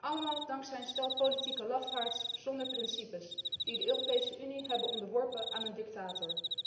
Allemaal dankzij een stel politieke lafaards zonder principes die de Europese Unie hebben onderworpen aan een dictator.